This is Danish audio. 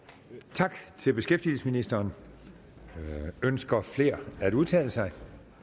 tak til beskæftigelsesministeren ønsker flere at udtale sig